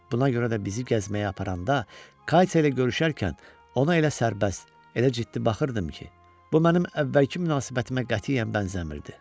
Buna görə də bizi gəzməyə aparanda Katya ilə görüşərkən ona elə sərbəst, elə ciddi baxırdım ki, bu mənim əvvəlki münasibətimə qətiyyən bənzəmirdi.